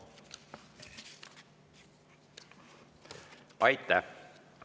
Aitäh!